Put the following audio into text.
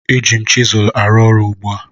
Eji m chịsụ arụ ọrụ ugbu a